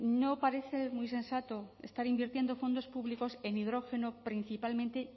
no parece muy sensato estar invirtiendo fondos públicos en hidrógeno principalmente